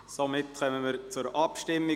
Damit kommen wir zur Abstimmung.